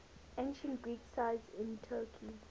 ancient greek sites in turkey